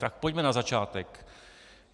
Tak pojďme na začátek.